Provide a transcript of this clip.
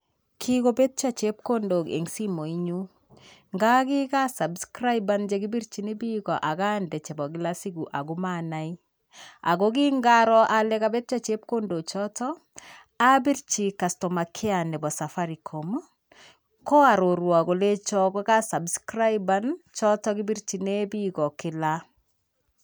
Kikobetyo chepkondok eng' simoinyu. Nga kikasabskraiban chekibirchin bik akande chebo kilasiku amaanai. Kokingaro ale kabetyo chepkondochoto, abirchi customer care nebo safaricom, koarorwo kolecho kokasabskraiban choto chekibirchine bik kila.